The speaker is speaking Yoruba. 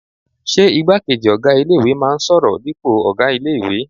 Ṣé igbákejì ọ̀gá ilé-ìwé náà n sọ̀rọ̀ dípò ọ̀gá ilé-ìwé?